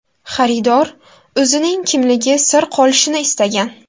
Xaridor o‘zining kimligi sir qolishini istagan.